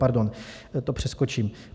Pardon, to přeskočím.